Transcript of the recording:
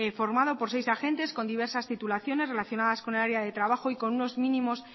formado por seis agentes con diversas titulaciones relacionadas con el área de trabajo y con unos mínimos